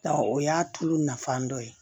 o y'a tulu nafan dɔ ye